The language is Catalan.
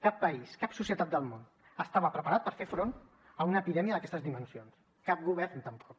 cap país cap societat del món estava preparat per fer front a una epidèmia d’aquestes dimensions cap govern tampoc